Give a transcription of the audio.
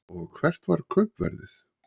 Og hvert var kaupverðið?